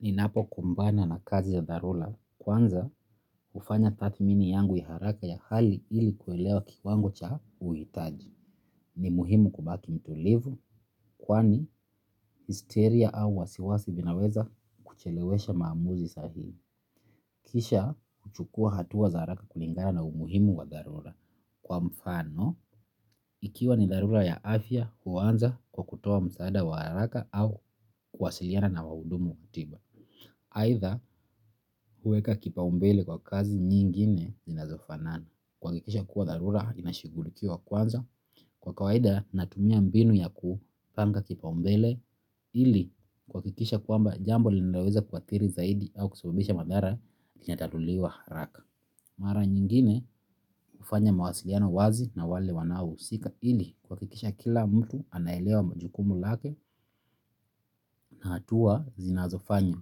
Ninapo kumbana na kazi ya dharula, kwanza ufanya tathmini yangu ya haraka ya hali ili kuelewa kikwangu cha uhitaji. Ni muhimu kubaki mtulivu, kwani histeria au wasiwasi vinaweza kuchelewesha maamuzi sahihi. Kisha kuchukua hatua za haraka kulingara na umuhimu wa dharula. Kwa mfano, ikiwa ni dharula ya afya, uwanza kwa kutoa msaada wa haraka au kwasiliana na wahudumu wa tiba. Aidha huweka kipaumbele kwa kazi zingine zinazo fanana huwakikisha kuwa dharura inashugulikiwa kwanza kwa kawaida natumia mbinu ya kupanhga kipaumbele. Ili kuwa kikisha kuamba jambo linaweza kuatiri zaidi au kusumbisha madhara kinatatuliwa raka. Mara nyingine ufanya mawasiliano wazi na wale wanao usika. Ili kwa kikisha kila mtu anaelewa majukumu lake na hatua zinazofanya.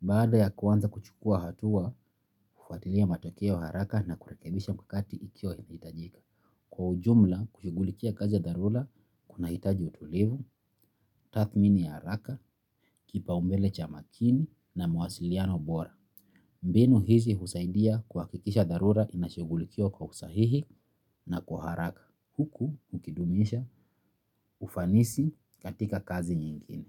Baada ya kuwanza kuchukua hatua, ufatilia matokeo haraka na kurekebisha mkakati ikiwainahitajika. Kwa ujumla, kushigulikia kazi ya dharula, kuna hitaji utulivu, tathmini ya haraka, kipa umbele cha makini na mwasiliano bora. Mbenu hizi husaidia kuwakikisha dharula inashigulikia kwa usahihi na kwa haraka. Huku, ukidumisha, ufanisi katika kazi nyingine.